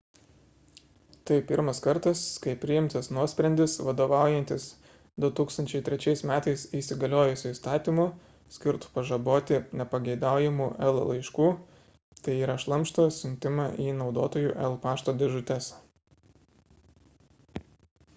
tai pirmas kartas kai priimtas nuosprendis vadovaujantis 2003 m įsigaliojusiu įstatymu skirtu pažaboti nepageidaujamų el laiškų tai yra šlamšto siuntimą į naudotojų el pašto dėžutes